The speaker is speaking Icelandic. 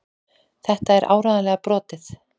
Þetta er áreiðanlega brotið.